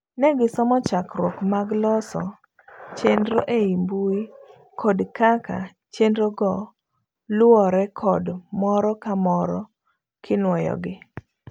Ne gisomo chakruok mag loso chenro ei mbui kod kaka chenrogo luwore kod moro ka moro kinuoyogi.